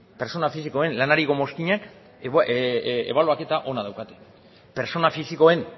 pertsona fisikoen lanariko mozkinak ebaluaketa ona daukate pertsona fisikoen